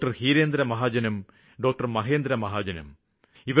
doctor Hirendra മഹാജനും doctor Mahendra മഹാജനും